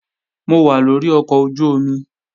Mo wà lórí ọkọ̀ ojú-omi